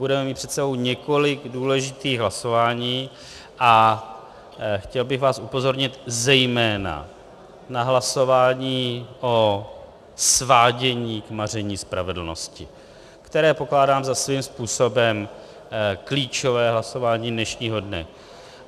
Budeme mít před sebou několik důležitých hlasování a chtěl bych vás upozornit zejména na hlasování o svádění k maření spravedlnosti, které pokládám za svým způsobem klíčové hlasování dnešního dne.